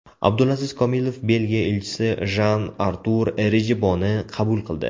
Abdulaziz Komilov Belgiya elchisi Jan-Artur Rejiboni qabul qildi.